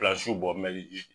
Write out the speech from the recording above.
Pilasiw bɔ mɛli ji